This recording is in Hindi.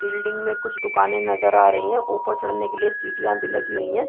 बिल्डिंग में कुछ दुकाने नजर आ रहे है ऊपर चढ़ने के लिए सीढ़ियां भी लगी हुई है।